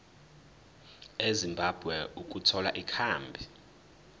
ezimbabwe ukuthola ikhambi